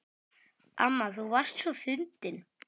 Amma þú varst svo fyndin.